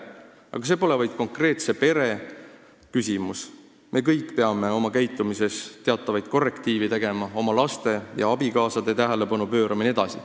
Aga see pole vaid konkreetse pere küsimus: me kõik peame oma käitumises teatavaid korrektiive tegema, oma lastele ja abikaasadele tähelepanu pöörama jne.